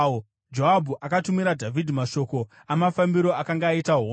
Joabhu akatumira Dhavhidhi mashoko amafambiro akanga aita hondo.